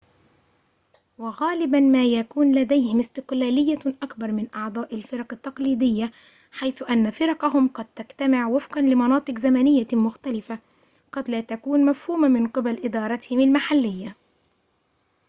وغالبا ما يكون لديهم استقلالية أكبر من أعضاء الفرق التقليدية حيث أن فرقهم قد تجتمع وفقا لمناطق زمنية مختلفة قد لا تكون مفهومة من قبل إدارتهم المحلية